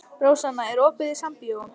Rósanna, er opið í Sambíóunum?